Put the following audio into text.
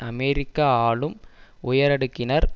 அமெரிக்க ஆளும் உயரடுக்கினர்